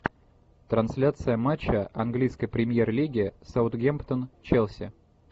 трансляция матча английской премьер лиги саутгемптон челси